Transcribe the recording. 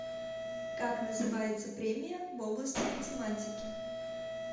как называется премия в области математики